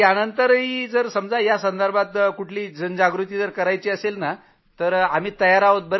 यानंतरही sir आम्ही कुठंही जनजागृतीसाठी कुठं जायचं असेल तर आम्ही सतत तयार आहोत